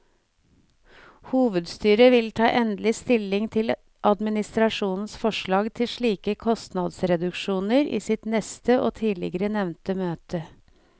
Hovedstyret vil ta endelig stilling til administrasjonens forslag til slike kostnadsreduksjoner i sitt neste og tidligere nevnte møte.